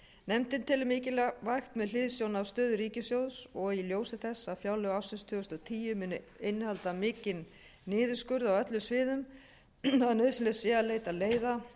nefndin telur mikilvægt með hliðsjón af stöðu ríkissjóðs og í ljósi þess að fjárlög ársins tvö þúsund og tíu munu innihalda mikinn niðurskurð á öllum sviðum að nauðsynlegt sé að leita leiða